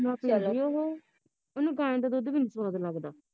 ਉਹਨੂੰ ਗਾਈ ਦਾ ਦੁੱਧ ਵੀ ਨੀ ਸਵਾਦ ਲੱਗਦਾ